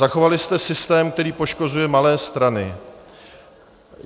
Zachovali jste systém, který poškozuje malé strany.